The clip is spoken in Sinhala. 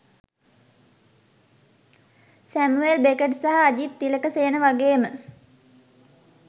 සැමුවෙල් බෙකට් සහ අජිත් තිලකසේන වගේම